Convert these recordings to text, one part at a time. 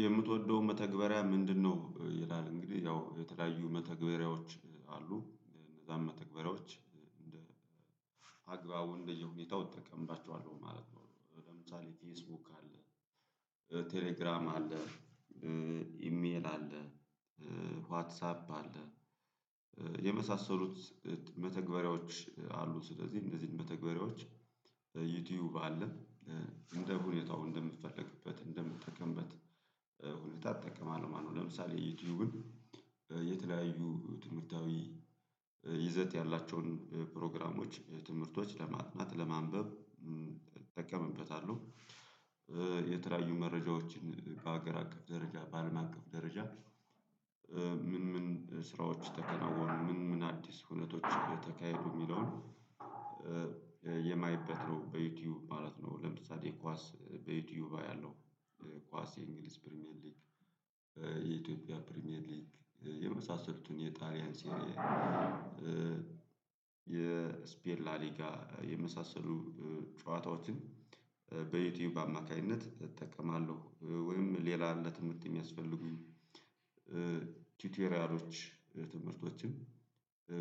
የምትወደው መተግበሪያ ምንድነው? ይላል እንግዲህ ያው የተለያዩ መተግበሪያዎች አሉ እነዛን መተግበሪያዎች እንደ አግባቡ እንደየሁኔታው እጠቀምባቸዋለሁ ማለት ነው። ለምሳሌ ፌስቡክ አለ ቴሌግራም አለ ኢሜል አለ ዋትሳፕ አለ የመሳሰሉት መተግበሪያዎች አሉ። ስለዚህ እነዚህን በተግባሪዎች ዩቲዩብ አለ እንደ ሁኔታው እንደምትፈልግበት እንደምጠቀምበት ሁኔታ እትጠቀማለው ማለት ነው። ለምሳሌ ዩቲዩብን የተለያዩ ትምህርታዊ ይዘት ያላቸውን ፕሮግራሞች ትምህርቶች ለማጥናት ለማንበብ እጠቀምበታለሁ። የተለያዩ መረጃዎችን በሀገር አቀፍ ደረጃ በአለም አቀፍ ደረጃ ምን ስራዎች ተከናወኑ ምን ምን አዲስ ሁነቶችን ተካሂዱ የሚለውን የማይበት ነው በዩቲዩብ ማለት ነው። ለምሳሌ ኳስ በዩቲዩብ አያለው። ኳስ የእንግሊዝ ፕሪሚየር ሊግ የኢትዮጵያ ፕሪሚየር ሊግ የመሳሰሉትን የጣሊያን ሲኒያ የስፔን ላሊጋ የመሳሰሉ ጨዋታዎችን በዩቲዩብ አማካኝነት እጠቀማለሁ። ወይም ሌላ ለትምህርት የሚያስፈልጉኝ ቲቴሪያሎች ትምህርቶችም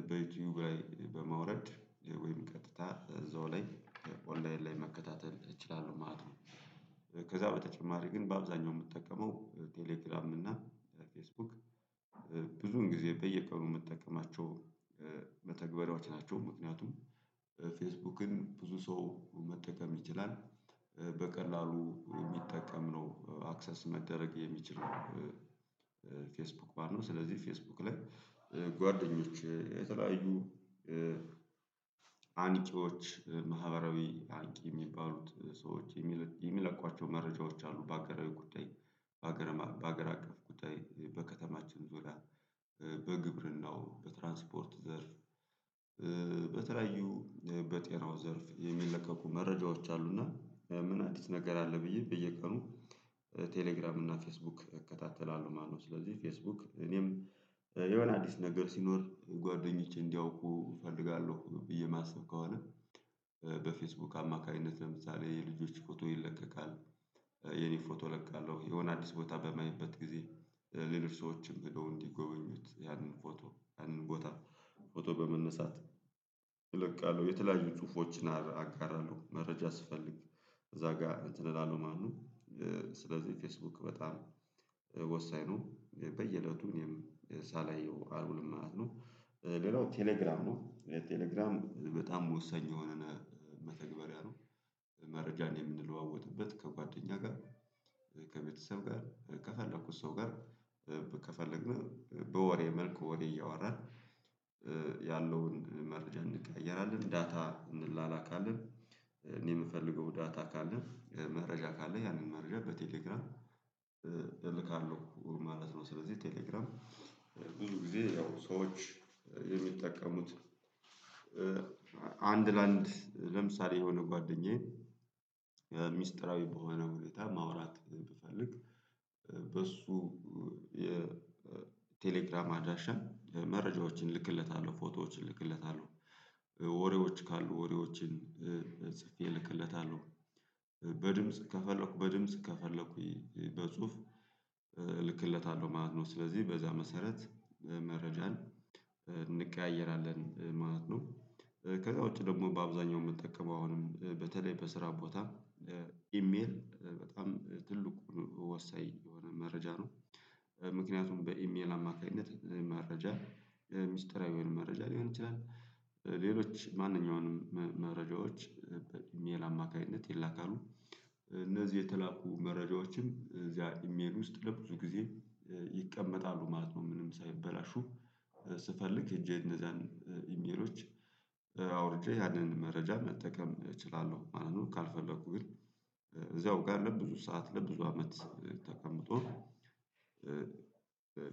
በዩቲዩብ ላይ በማውረድ ወይም ቀጥታ እዛው ላይ ኦንላይን ላይ መከታተል እችላለሁ ማለት ነው። ከዛ በተጨማሪ ግን በአብዛኛው የምጠቀመው ቴሌግራምኝ እና ፌስቡክ ብዙን ጊዜ በየቀኑ መጠቀማቸው መተግበሪያዎች ናቸው። ምክንያቱም ፌስቡክን ብዙ ሰው መጠቀም ይችላል በቀላሉ የሚጠቀም ነው አክሰስ መደረግ የሚችለው ፌስቡክ ባል ነው። ስለዚህ ፌስቡክ ላይ ጓደኞች የተለያዩ አንቂዎች ማህበራዊ አንቂ የሚባሉት ሰዎች የሚለቋቸው መረጃዎች አሉ። በሀገራዊ ጉዳይ በሀገር በሀገር አቀፍ ጉዳይ በከተማችን ዙሪያ በግብርናው በትራንስፖርት ዘርፍ በተለያዩ በጤናው ዘርፍ የሚለቀቁ መረጃዎች አሉና ምን አዲስ ነገር አለ? ብዬ በየቀኑ ቴሌግራም እና ፌስቡክ እከታተላለሁ ማለት ነው። ስለዚህ ፌስቡክ እኔም የሆነ አዲስ ነገር ሲኖር ጓደኞቼ እንዲያውቁ እፈልጋለሁ ብዬ ማሰብ ከሆነ በፌስቡክ አማካኝነት ለምሳሌ የልጆች ፎቶ ይለቀቃል። የኔ ፎቶ እለቃለሁ የሆነ አዲስ ቦታ በማየበት ጊዜ ሌሎች ሰዎችም ሄደው እንዲጎበኙት ያንን ፎቶ ያንን ቦታ ፎቶ በመነሳት እለቃለሁ የተለያዩ ጽሁፎችን አጋራለሁ መረጃ ስፈልግ እዛ ጋር እንትን እላለው ማለት ነው። ስለዚህ ፌስቡክ በጣም ወሳኝ ነው። በየእለቱ እኔም የሳላየው አልውልም ማለት ነው። ሌላው ቴሌግራም ነው ቴሌግራም በጣም ወሳኝ የሆነ መተግበሪያ ነው። መረጃን የምንለዋወጥበት ከጓደኛ ጋር ከቤተሰብ ከፈለኩት ሰው ጋር ከፈለግን በወሬ መልኩ ወሬ እያወራን ያለውን መረጃ እንቀያየራለን። ዳታ እንላላካለን እኔ የምፈልገው ዳታ ካለ መረጃ ካለ ያንን መረጃ በቴሌግራም እልካለሁ ማለት ነው። ስለዚህ ቴሌግራም ብዙ ጊዜ ያው ሰዎች የሚጠቀሙት። አንድ ለአንድ ለምሳሌ የሆነ ጓደኛዬን ሚስጥራዊ በሆነ ሁኔታ ማውራት ብፈልግ በሱ የቴሌግራም አድራሻ መረጃዎችን እልክለታለሁ ፎቶዎችን እልክለታለሁ ወሬዎች ካሉ ወሬዎችን ጽፌ እልክለታለሁ በድምጽ ከፈለኩ በድምጽ ከፈለኩ በጽሁፍ እልክለታለሁ ማለት ነው። ስለዚህ በዛ መሰረት መረጃን እንቀያየራለን ማለት ነው። ከዛ ውጪ ደግሞ በአብዛኛው የምጠቀመው አሁንም በተለይ በስራ ቦታ ኢሜል በጣም ትልቁን ወሳኝ የሆነ መረጃ ነው። ምክንያቱም በኢሜል አማካኝነት መረጃ ሚስጥራዊ የሆነ መረጃ ሊሆን ይችላል። ሌሎች ማንኛውንም መረጃዎች በአሠልጣኝ አማካኝነት ይላካሉ። እነዚህ የተላኩ መረጃዎችን እዚያ ኢሜል ውስጥ ለብዙ ጊዜ ይቀመጣሉ ማለት ነው። ምንም ሳይበላሹ ስፈልግ ሄጄ እነዛን ኢሜሎች አውርጄ ያንን መረጃ መጠቀም እችላለሁ ማለት ነው። ካልፈለኩ ግን እዛው ጋር ለብዙ ሰዓት ለብዙ አመት ተቀምጦ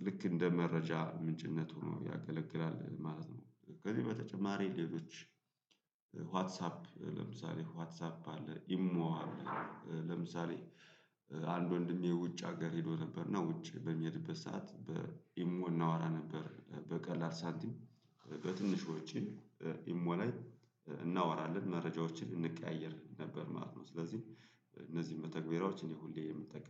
ልክ እንደ መረጃ ምንጭነቱ ነው ያገለግላል ማለት ነው። ከዚህ በተጨማሪ ሌሎች ዋትሳፕ ለምሳሌ ዋትሳፕ አለ ኢሞ አለ ለምሳሌ አንድ ወንድሜ ውጭ ሀገር ሄዶ ነበር እና ውጭ በሚሄድበት ሰዓት በኢሞ እናወራ ነበር በቀላል ሳንቲም በትንሽ ወጪ ኢሞ ላይ እናወራለን መረጃዎችን እንቀያየር ነበር ማለት ነው። ስለዚህ እነዚህን መተግበሪያዎች እኔ ሁሌ የምንጠቀመው